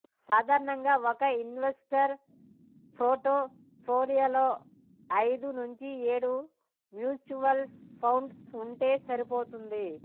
సాధారణంగా ఒక ఇన్వెస్టర్ పోర్ట్ఫోలియోలో ఐదు నుంచి ఏడు మ్యూచువల్ ఫండ్స్ ఉంటే సరిపోతుంది